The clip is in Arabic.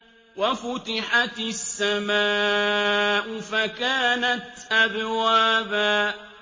وَفُتِحَتِ السَّمَاءُ فَكَانَتْ أَبْوَابًا